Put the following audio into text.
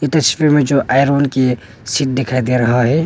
दृश्य में जो आयरन की सीट दिखाई दे रहा है।